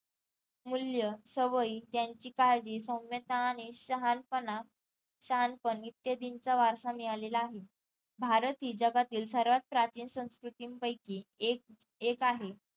मूल्य, सवयी, त्यांची काळजी, सौम्यता आणि शहाणपणा शहाणपण इत्यादींचा वारसा मिळाला आहे भारतही जगातील सर्वात प्राचीन संस्कृतीन पैकी एक एक आहे